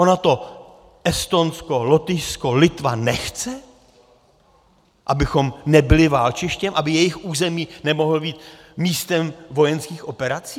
Ono to Estonsko, Lotyšsko, Litva nechce, abychom nebyli válčištěm, aby jejich území nemohlo být místem vojenských operací?